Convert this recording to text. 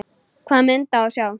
Hvaða mynd á að sjá?